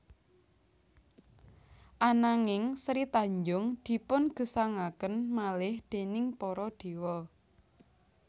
Ananging Sri Tanjung dipun gesangaken malih déning para dewa